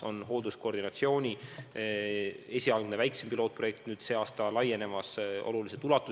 On hoolduskoordinatsiooni esialgne väiksem pilootprojekt ja sel aastal laieneb see oluliselt.